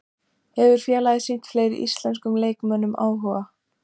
Hefur félagið sýnt fleiri íslenskum leikmönnum áhuga?